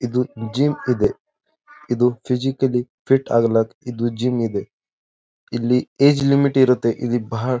ಇದು ಜಿಮ್ ಇದೆ ಇದು ಫಿಸಿಕಲಿ ಫಿಟ್ ಆಗಲು ಇದು ಜಿಮ್ ಇದೆ ಇಲ್ಲಿ ಏಜ್ ಲಿಮಿಟ್ ಇರುತ್ತೆ ಇಲ್ಲಿ ಬಹಳ.--